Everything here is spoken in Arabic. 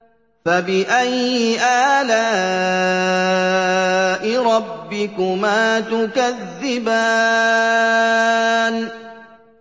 فَبِأَيِّ آلَاءِ رَبِّكُمَا تُكَذِّبَانِ